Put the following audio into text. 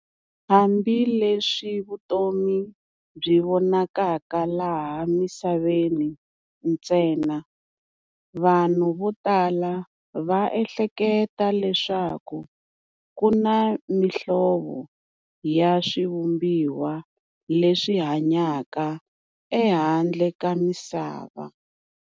Hambileswi vutomi byi vonakaka laha misaveni ntsena, vanhu vo tala va ehleketa leswaku kuna mihlovo ya swivumbiwa leswi hanyaka ehandle ka misava.